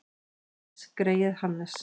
Og Hannes greyið Hafstein!